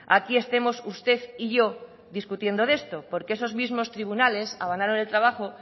aquí estemos usted y yo discutiendo de esto porque esos mismos tribunales avalaron el trabajo